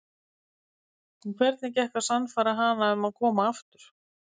En hvernig gekk að sannfæra hana um að koma aftur?